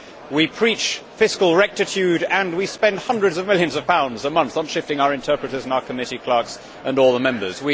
We preach fiscal rectitude and yet we spend hundreds of millions of pounds a month on shifting our interpreters and our committee clerks and all the Members.